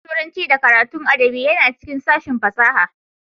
Sashen Turanci da karatun adabi yana cikin sashen fasaha